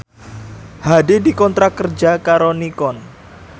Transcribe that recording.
Hadi dikontrak kerja karo Nikon